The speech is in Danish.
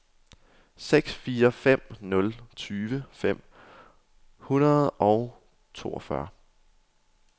seks fire fem nul tyve fem hundrede og toogfyrre